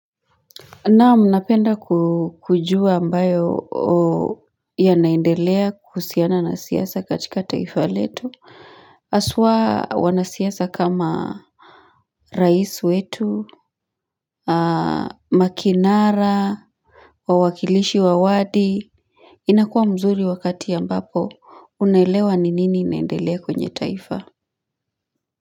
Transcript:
Naam, napenda kujua ambayo yanaendelea kuhusiana na siasa katika taifa letu. Haswa wanasiasa kama rais wetu, makinara, wawakilishi wa wadi. Inakuwa mzuri wakati ambapo unaelewa ni nini inaendelea kwenye taifa.